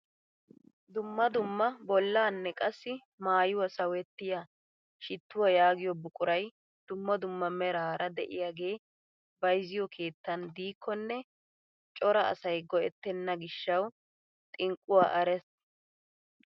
Dumma dumma bollaanne qassi maayuwa sawettiyaa shittuwaa yaagiyoo buquray dumma dumma meraara de'iyaagee byzziyoo keettan diikonne cora asay go"ettena giishshawu xinqquwaa arees!